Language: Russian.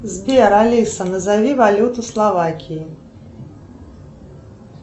сбер алиса назови валюту словакии